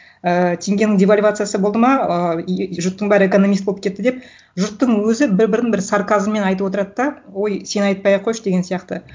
ііі теңгенің девальвациясы болды ма ыыы жұрттың бәрі экономист болып кетті деп жұрттың өзі бір бірін бір сарказммен айтып отырады да ой сен айтпай ақ қойшы деген сияқты